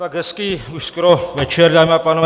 Tak hezký už skoro večer, dámy a pánové.